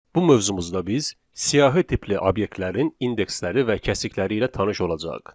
Bu mövzumuzda biz siyahı tipli obyektlərin indeksləri və kəsikləri ilə tanış olacağıq.